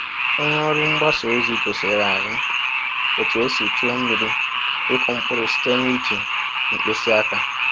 Onye ọrụ mgbasa ozi gosiere anyị otu esi tụọ miri ịkụ mkpụrụ site n’iji mkpịsị aka